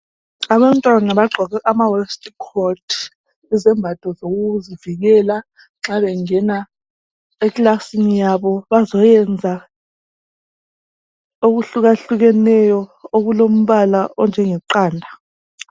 Abantwana bagqoke ama waistcoat izembatho zokuzivikela nxa bengena ekilasini yabo bazoyenza okuhluka hlukeneyo okulombala onjenge qanda.